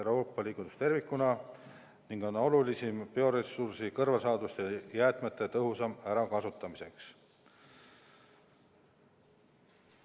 Euroopa Liidus tervikuna on olulisim bioressursi, kõrvalsaaduste ja jäätmete tõhusam ärakasutamine.